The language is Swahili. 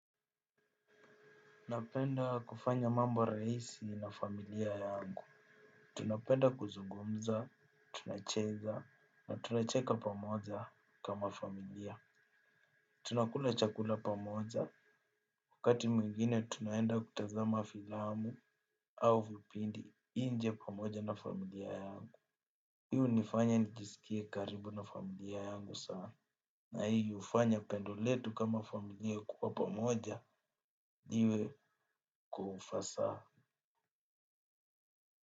Napenda kufanya mambo rahisi na familia yangu. Tunapenda kuzungumza, tunacheza, na tunacheka pamoja kama familia. Tunakula chakula pamoja. Wakati mwingine tunaenda kutazama filamu au vipindi nje pamoja na familia yangu. Hii hunifanya nijisikie karibu na familia yangu sana. Na hii hufanya pendo letu kama familia kuwa pamoja, niwe kwa ufasaha.